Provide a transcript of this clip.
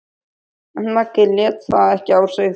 En Maggi lét það ekki á sig fá.